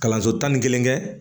Kalanso tan ni kelen kɛ